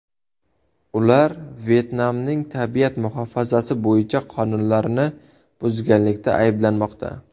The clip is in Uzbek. Ular Vyetnamning tabiat muhofazasi bo‘yicha qonunlarini buzganlikda ayblanmoqda.